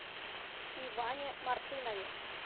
иване мартынове